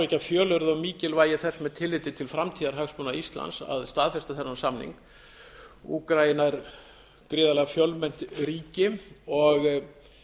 ekki að fjölyrða um mikilvægi þess með tilliti til framtíðarhagsmuna íslands að staðfesta þennan samning úkraína er gríðarlega fjölmennt ríki og